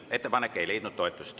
Ettepanek ei leidnud toetust.